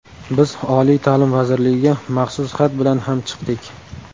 Biz oliy ta’lim vazirligiga maxsus xat bilan ham chiqdik.